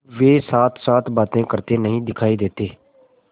अब वे साथसाथ बातें करते नहीं दिखायी देते